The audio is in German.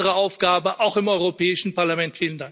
Das ist unsere Aufgabe, auch im Europäischen Parlament.